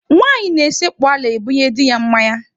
Nwaanyị na-esekpu ala ebunye di ya mmanya.